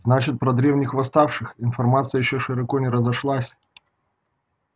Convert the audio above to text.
значит про древних восставших информация ещё широко не разошлась